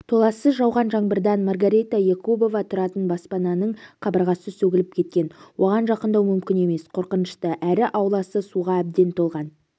толассыз жауған жаңбырдан маргарита якубова тұратын баспананың қабырғасы сөгіліп кеткен оған жақындау мүмкін емес қорқынышты әрі ауласы суға әбден толған